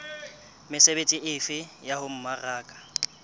mesebetsi efe ya ho mmaraka